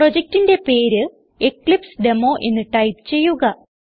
പ്രൊജക്റ്റിന്റെ പേര് എക്ലിപ്സെഡെമോ എന്ന് ടൈപ്പ് ചെയ്യുക